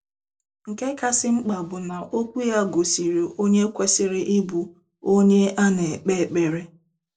Nke kasị mkpa bụ na okwu ya gosiri onye kwesịrị ịbụ onye a na-ekpe ekpere.